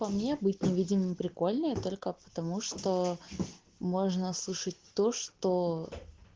по мне быть невидимым прикольные только потому что можно слышать то что